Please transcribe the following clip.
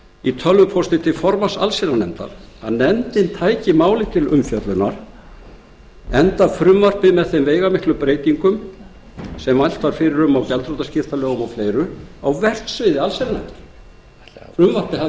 í tölvupósti til formanns allsherjarnefndar að nefndin tæki málið til umfjöllunar enda frumvarpið með þeim veigamiklu breytingum sem mælt var fyrir um á gjaldþrotaskiptalögum og fleiri á verksviði allsherjarnefndar frumvarpið